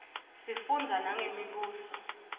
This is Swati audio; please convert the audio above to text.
sifundza nangemibuso